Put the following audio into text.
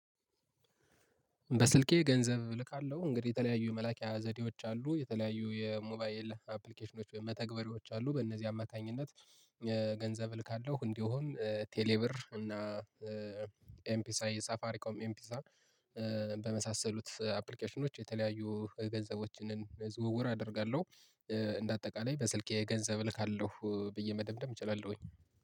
በስልኬ ገንዘብ እልካለሁ እንግዲህ የተለያዩ የመላኪያ ዘዴዎች አሉ፤ የተለያዩ የሞባይ ኤልሃፕሊኬሽኖች መተግበሪዎች አሉ፤ በእነዚህ አማካኝነት ገንዘብ ልካለሁ እንዲሆን ቴሌ ብር እና ኤምፒሳ የሳፋሪ ኮም ኤምፒሳ በመሳሰሉት አፕሊኬሽኖች የተለያዩ ገንዘቦችን ዝውውር አደርጋለሁ፤ እንደ አጠቃላይ በስልኬ ገንዘብ እልካለሁ ብዬ መደምደም እችላለሁኝ።